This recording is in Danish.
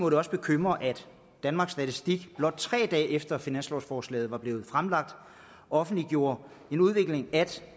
bekymre at danmarks statistik blot tre dage efter at finanslovsforslaget var blevet fremsat offentliggjorde at udviklingen